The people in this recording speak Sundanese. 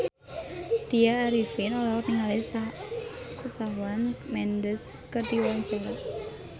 Tya Arifin olohok ningali Shawn Mendes keur diwawancara